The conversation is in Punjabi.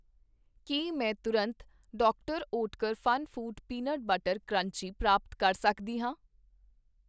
ਕੀ ਮੈਂ ਤੁਰੰਤ ਡਾ Oetker FunFoods peanut butter crunchy ਪ੍ਰਾਪਤ ਕਰ * ਸਕਦੀ ਹਾਂ?